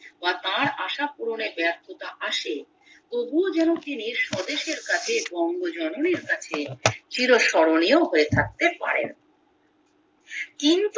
বা তার আশা পূরণের ব্যর্থতা আসে তবুও যেন তিনি স্বদেশের কাছে বঙ্গজননীর কাছে চিরস্মরণীয় হয়ে থাকতে পারেন কিন্তু